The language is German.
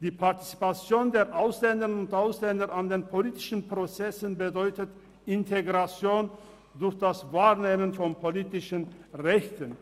Die Partizipation der Ausländerinnen und Ausländer an den politischen Prozessen bedeutet Integration durch das Wahrnehmen von politischen Rechten.